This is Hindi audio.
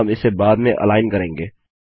हम इसे बाद में अलाइन करेंगे